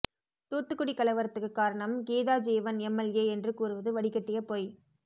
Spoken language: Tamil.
தூத்துக்குடி கலவரத்துக்கு காரணம் கீதாஜீவன் எம்எல்ஏ என்று கூறுவது வடிகட்டிய பொய்